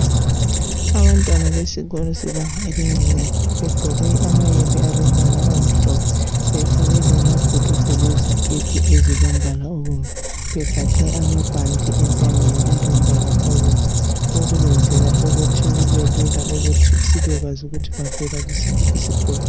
Abantwana besikolo sebanga elincane begqoke amayembe alombala omhlophe befake amabhulugwe leziketi alombala obomvu begaqe amabhanti entanyeni alombala obomvu lokhu benzela ukuthi kubelula ukuthi sibekwazi ukuthi bavela kusiphi isikolo